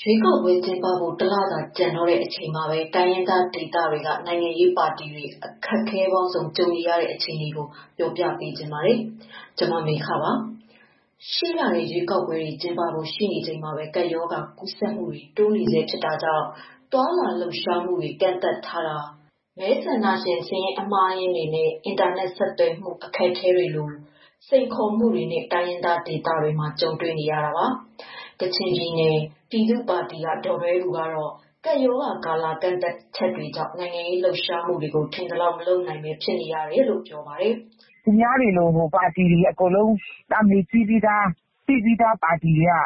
ရွေးကောက်ပွဲကျင်းပဖို့ ၁ လသာ ကျန်တော့တဲ့ အချိန်မှာပဲ တိုင်းရင်းသားဒေသတွေက နိုင်ငံရေးပါတီတွေ အခက်အခဲပေါင်းစုံ ကြုံနေရတဲ့ အခြေအနေကို ပြောပြပေးပါမယ်။ ဗွီအိုအေမြန်မာပိုင်းသတင်းထောက် မမေခက တင်ပြပေးမှာပါ။ ရှေ့လထဲ ရွေးကောက်ပွဲတွေ ကျင်းပဖို့ ရှိနေချိန်မှာပဲ ကပ်ရောဂါကူးစက်မှုတွေ တိုးနေဆဲဖြစ်တာကြောင့် သွားလာလှုပ်ရှားမှုတွေ ကန့်သတ်ထားတာတွေ၊ မဲဆန္ဒရှင်စာရင်း အမှားအယွင်းတွေနဲ့ အင်တာနက် ဆက်သွယ်မှု အခက်အခဲတွေလို တိုင်းရင်းသား ဒေသတွေမှာ စိန်ခေါ်မှုတွေနဲ့ ကြုံနေရတာပါ။ ကချင်ပြည်နယ်ပြည်သူ့ပါတီ ကဒေါ်ဒွဲဘူကတော့ ကပ်ရောဂါကာလ ကန့်သတ်ချက်တွေကြောင့် နိုင်ငံရေးလှုပ်ရှားမှုတွေကို ထင်သလောက် မလုပ်နိုင်ပဲ ဖြစ်နေရတယ်လို့ ပြောပါတယ်။ “သူများတွေလို ပါတီတွေအကုန်လုံး နာမည်ကြီးပြီးသား နာမည်ရှိပြီးသားပါတီတွေအ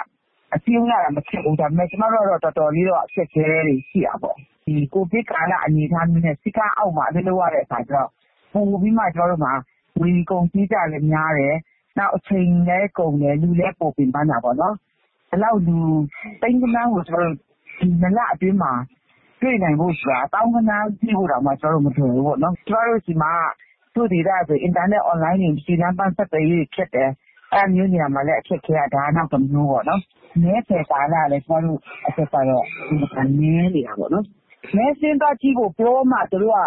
တွက်က စည်းရုံးရတာ မခက်ဘူး ဒါပေမယ့် ကျမတို့ကျတော့ တော်တော်လေး အခက်အခဲတွေ ရှိတာပေါ့။ ကိုဗစ်ကာလ အနေအထားနဲ့စည်းကမ်းအောက်မှာလုပ်ရတော့ ပိုပြီးမှငွေကုန်ကြေးကျများတယ်။ အချိန်လည်း ကုန်တယ်၊ လူလည်းပိုပင်ပန်းတာပေါ့နော်။ ဒီလောက်လူ သိန်းဂဏန်းကို ၂လတွင်းမှာ တွေ့ဖို့ဆိုတာက သောင်းဂဏန်း တွေ့ဖို့တောင်မလွယ်ဘူးပေါ့နော်။ ကျမတို့ဆီမှာက တချို့ဒေသဆို အင်တာနက်အွန်လိုင်းတွေ၊ လမ်းပန်းဆက်သွယ်ရေးတွေ ခက်တယ်။ အဲဒါမျိုးနေရာမှာလည်း အခက်အခဲက နောက်တမျိုးပေါနော် နောက်တခု မဲဆွယ်ကာလ ၂လဆိုတာ အင်မတန်နည်းတယ်။ မဲစာရင်းသွားကြည့်ဖို့ ပြောမှ သူတို့က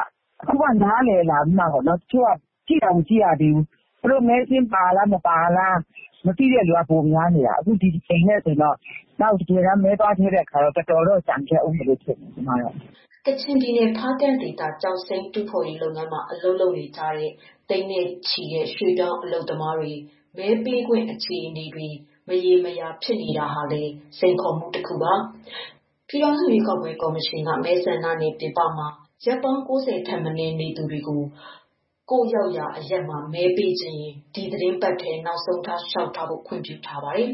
ပြောမှ အခုမှ နားလည်လာပြီးမှ တချို့ကျတော့ ခုထိမဲစာရင်းတောင်မကြည့်ကြဘူး။ သူတိုမဲစာရင်းပါလား၊ မပါလားတောင်မသိကြဘူး။ မသိတဲ့သူတွေက ပိုများတော့ဒီတကြိမ်လည်းတော်တော်ကျန်ခဲ့ဦးမယ်ထင်တယ်။” ကချင်ပြည်နယ် ၊ ဖားကန့်ဒေသ ကျောက်စိမ်း တူးဖော်ရေးလုပ်ငန်းမှာ အလုပ်လုပ်နေကြတဲ့ သိန်းနဲ့ချီတဲ့ ရွှေ့ပြောင်းအလုပ်သမားတွေ မဲပေးခွင့် အခြေအနေတွေ မရေမရာဖြစ်နေတာဟာလည်း စိန်ခေါ်မှုတခုပါ။ ပြည်ထောင်စု ရွေးကောက်ပွဲ ကော်မရှင်က မဲဆန္ဒနယ်မြေ ပြင်ပမှာ ရက်ပေါင်း ၉၀ ထက်မနည်း ရောက်နေသူတွေ ကိုယ့်ရောက်ရာအရပ်မှာ မဲပေးချင်ရင် ဒီသီတင်းပတ်ထဲ နောက်ဆုံးထား လျှောက်ထားဖို့ ခွင့်ပြုထားပါတယ်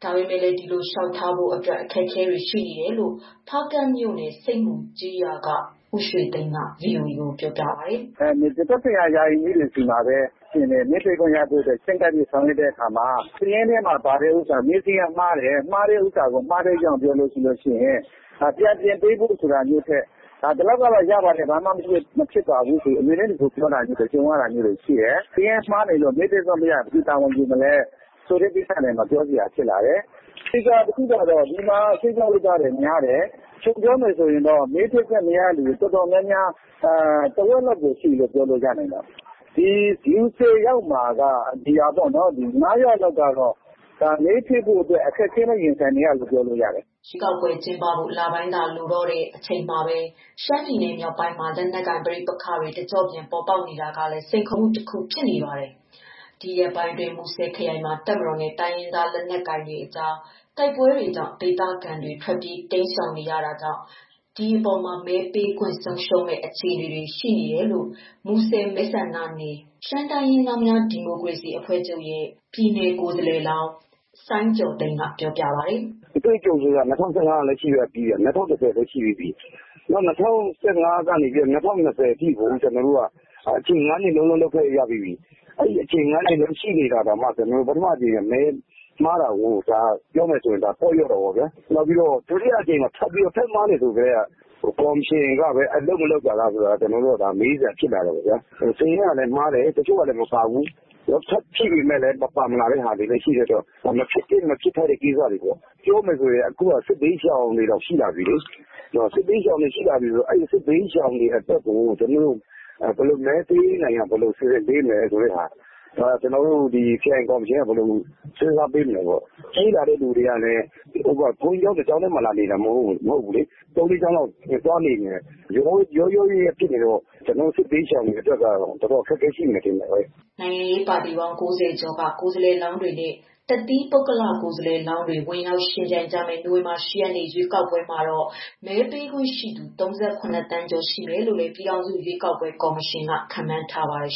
။ ဒါပေမဲ့လည်း ဒီလိုလျှောက်ထားဖို့အတွက် အခက်အခဲတွေ ရှိနေတယ်လို့လည်း ဖားကန့်မြို့နယ် ဆိပ်မူကျေးရွာက ဦးရွှေသိန်းကပြောပါတယ်။ “သက်ဆိုင်ရာ ရာအိမ်မှူးတွေဆီမှာ မဲထည့်ခွင့်ရဖို့အတွက် ချဉ်းကပ်ဆောင်ရွက်တဲ့အခါမျာစာရင်းထဲမှာ ပါတဲ့ဟာ မဲစာရင်းကမှားတယ်ဆိုတာ မှားတဲ့ အကြောင်း ပြောရင်ဒါကို ပြန်ပြင်ပေးဖို့ ဆိုတာမျိုးထက်ဒီလောက်ကရတယ် ၊ ဘာမှမဖြစ်ဘူးတို့ အမြဲတမ်း ဒီလိုပြောတာမျိုးတွေ ရှိတယ်။ စာရင်းမှားလို့ မဲပေးခွင့်မရရင်ဘယ်သူတာဝန်ယူမလဲ ဆိုတဲ့ ကိစ္စမှာ ပြောစရာရှိလာတယ်။ သေချာတာတခုက ဒီမှာ ရွှေ့ပြောင်းလုပ်သားတွေများတယ်။ ခြုံပြောရင် မဲထည့်ခွင့်မရသူ တော်တော်များများ ထက်ဝက်လောက်ရှိတယ်။ လူ ၁၀ယောက်မှာ ၅ယောက်ကမဲပေးခွင့် ရဖို့ အခက်အခဲနဲ့ ရင်ဆိုင်နေရတယ်လို့ ပြောလို့ရတယ်။” ရွေးကောက်ပွဲ ကျင်းပဖို့ လပိုင်းသာ လိုတော့တဲ့ အချိန်မှာပဲ ရှမ်းပြည်နယ်မြောက်ပိုင်းမှာ လက်နက်ကိုင်ပဋိပက္ခတွေ တကျော့ပြန် ပေါ်ပေါက်နေတာကလည်း စိန်ခေါ်မှုတခုဖြစ်နေပါတယ်။ ဒီရက်ပိုင်းအတွင်း မူဆယ်ခရိုင်မှာ တပ်မတော်နဲ့ တိုင်းရင်းသား လက်နက်ကိုင်အဖွဲ့တွေကြား တိုက်ပွဲတွေကြောင့် ဒေသခံတွေ ထွက်ပြေးတိမ်းရှောင်နေကြရတာကြောင့် မဲပေးခွင့် ဆုံးရှုံးမယ့် အလားအလာတွေ ရှိနေတယ်လို့ မူဆယ် မဲဆန္ဒနနယ် ရှမ်းတိုင်းရင်းသားများ ဒီမိုကရေစီ အဖွဲ့ချုပ်ရဲ့ ပြည်နယ် ကိုယ်စားလှယ်လောင်း စိုင်းကျော်သိန်းက ပြောပြပါတယ်။ “အတွေ့အကြုံ က၂၀၁၅ ရှိတယ်။ ၂၀၁၀လည်းရှိတယ်။ ၂၀၁၅ ကနေ အခု ၂၀၂၀ အထိ အချိန် ၅နှစ်ရခဲ့တယ်။ အဲလို ၅နှစ်ရှိ တာကိုတောင်မှပထမကြိမ် မဲမှားတာကို ပြောမယ်ဆိုရင် ပေါ့လျော့တာပေါ့ဗျာ။ နောက်ပြီးတော့ ဒုတိယအကြိမ်ပါ ထပ်မှားတော့ ကော်မရှင်ကပဲ အလုပ်မလုပ်တာလား မေးစရာဖြစ်လာတယ်။ စာရင်းကမှားတယ် တချို့လည်း မပါဘူး။ ထပ်ဖြည့်လည်းမပါဘူး။ ဒါမဖြစ်သင့်တဲ့ ကိစ္စတွေပေါ့ဗျာ။ ပြောရမယ်ဆိုရင် အခုကစစ်ဘေးရှောင်တွေတောင် ရှိလာတယ်။ စစ်ဘေးရှောင်တွေ အတွက် ဘယ်လိုမဲပေးရမလဲ ဆိုတာ ကျနော်တို့ ခရိုင်ကော်မရှင်က ဘယ်လို စည်းစားပေးမလဲပေါ့။ ပြေးလာသူတွေက ဘုန်းကြီးကျောင်း တကျောင်းထဲနေတာမဟုတ်ဘူး။ ၃၊ ၄ ကျောင်းလောက် သွားနေနေတယ် ခုရောနေတော့ စစ်ဘေးရှောင်တွေ တော်တော်အခက်အခဲရှိမယ်ထင်တာဘဲ။” နိုင်ငံရေးပါတီပေါင်း ၉၀ ကျော်က ကိုယ်စားလှယ်လောင်းတွေနဲ့ တသီးပုဂ္ဂလ ကိုယ်စားလှယ်လောင်း တွေ ဝင်ရောက်ယှဉ်ပြိုင်ကြမယ့် နိုဝင်ဘာလ ၈ ရက်နေ့ ရွေးကောက်ပွဲမှာတော့ မဲပေးခွင့်ရှိသူ ၃၇ သန်းကျော် ရှိမယ်လို့လည်း ပြည်ထောင်စုရွေးကောက်ပွဲ ကော်မရှင်က ခန့်မှန်းထားပါတယ်